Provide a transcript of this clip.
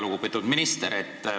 Väga lugupeetud minister!